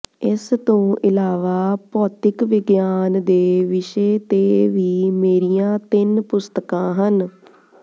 ਇਸ ਤੋਂ ਇਲਾਵਾ ਭੌਤਿਕ ਵਿਗਿਆਨ ਦੇ ਵਿਸ਼ੇ ਤੇ ਵੀ ਮੇਰੀਆਂ ਤਿੰਨ ਪੁਸਤਕਾਂ ਹਨ